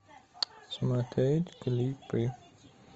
смотреть клипы